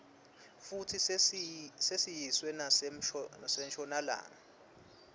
futsi sesiyiswe nasenshonalanga